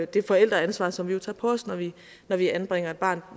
det forældreansvar som vi jo tager på os når vi når vi anbringer et barn